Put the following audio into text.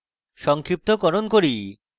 সংক্ষিপ্তকরণ করি